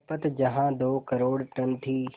खपत जहां दो करोड़ टन थी